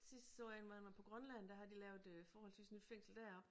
Sidst så jeg 1 hvor han var på Grønland der har de lavet øh forholdsvis nyt fængsel deroppe